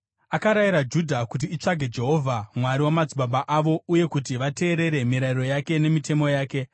Akarayira Judha kuti itsvage Jehovha, Mwari wamadzibaba avo, uye kuti vateerere mirayiro yake nemitemo yake.